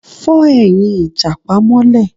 Fọ́ ẹ̀yìn ìjàpá mọ́lé